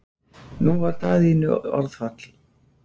Nú varð Daðínu orðfall.